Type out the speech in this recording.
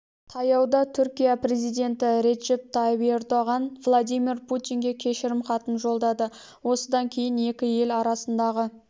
таяуда түркия президенті реджеп тайып ердоған владимир путинге кешірім хатын жолдады осыдан кейін екі ел арасындағы